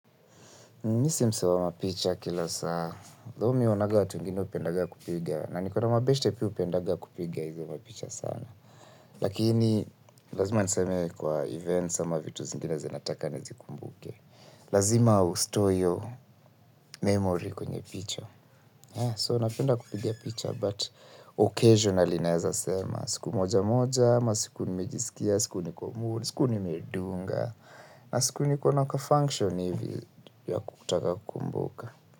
Mimi si msee wa mapicha kila saa. Though mimi naonanga watu wengine hupendanga kupiga. Na nikona mwabeshte pia hupendaga kupiga hizi mpicha sana. Lakini, lazima niseme kwa events ama vitu zingine zinataka nizikumbuke. Lazima ustore hiyo memory kwenye picha. So, napenda kupiga picha, but occasionally naeza sema. Siku moja moja, masiku nimejisikia, siku niko mood, siku nimedunga. Na siku nikona kafunction hivi ya kutaka kukumbuka.